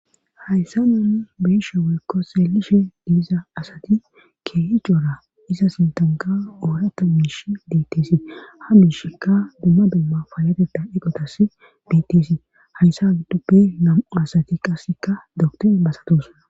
Hayssa nanni beesha woykko seelishe diiza asati keehi coora iza sintanka oorata miish biittesi ha miishkka dumma dumma faayateta iqotas bittesi hayssa hagddoppe nam7u asati qasseka dokto basatos.